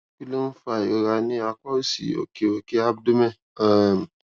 kí ló ń fa ìrora ní apá òsì òkè òkè abdomen um